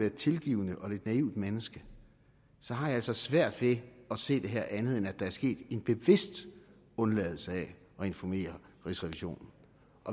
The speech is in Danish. et tilgivende og lidt naivt menneske har jeg altså svært ved at se det her som andet end at der er sket en bevidst undladelse af at informere rigsrevisionen